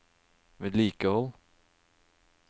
vedlikehold